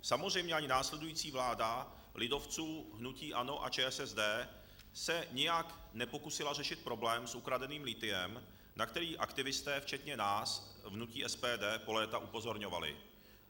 Samozřejmě ani následující vláda lidovců, hnutí ANO a ČSSD se nijak nepokusila řešit problém s ukradeným lithiem, na který aktivisté včetně nás hnutí SPD po léta upozorňovali.